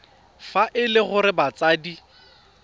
fa e le gore batsadi